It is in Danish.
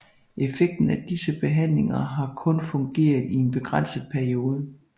Effekten af disse behandlinger har kun fungeret i en begrænset periode